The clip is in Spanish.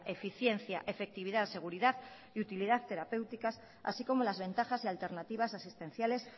eficiencia efectividad seguridad y utilidad terapéuticas así como las ventajas y alternativas asistenciales